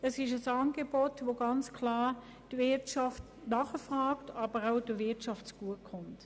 Das ist ein Angebot, welches die Wirtschaft ganz klar nachfragt, und es kommt der Wirtschaft auch zugute.